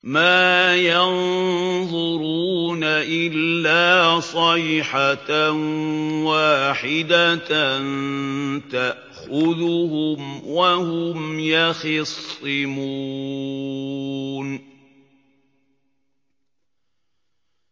مَا يَنظُرُونَ إِلَّا صَيْحَةً وَاحِدَةً تَأْخُذُهُمْ وَهُمْ يَخِصِّمُونَ